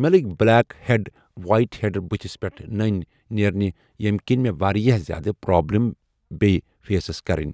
مےٚ لٔگۍ black head white heads بٔتھِس پٮ۪ٹھ نٔنۍ نیرنہِ یِم کَنۍ مےٚ واریاہ زیادٕ پرٛابلِم بیٚیہِ فیسس کَرٕنۍ۔